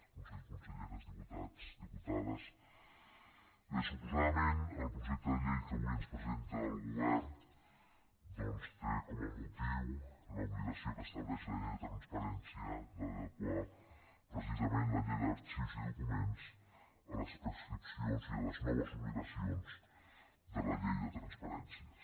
consellers conselleres diputats diputades bé suposadament el projecte de llei que avui ens presenta el govern doncs té com a motiu l’obligació que estableix la llei de transparència d’adequar precisament la llei d’arxius i documents a les prescripcions i a les noves obligacions de la llei de transparència